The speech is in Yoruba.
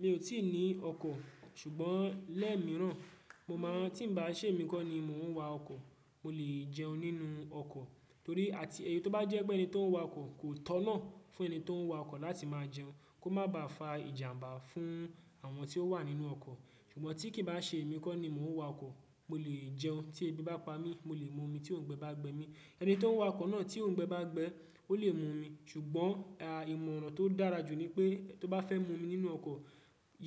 Mi ò tí ì ní ọkọ, ṣùgbọ́n lẹẹ mìíràn mo máa tí ń bá ṣè mí kọ́ ni mò ń wa ọkọ, mo lè jẹun nínú ọkọ torí àti èyí tó bá jẹ pé ẹni tó ń wa ọkọ kò tọ̀nà fún ẹni tó ń wa ọkọ láti máa jẹun kó má ba à fa ìjàmbá fún àwọn tí ó wà nínú ọkọ. Ṣùgbọ́n tí kì í bá ṣè mí kọ ni mò ń wa ọkọ, mo lè jẹun tí èbí bá pa mí, mo lè mu omi tí òǹgbẹ bá gbẹ mí. Ẹni tó ń wa ọkọ náà tí òǹgbẹ bá gbẹ, ó lè mu omi. Ṣùgbọ́n ìmọ̀ràn tó dára jù ni pé tó bá fẹ́ mu omi nínú ọkọ̀,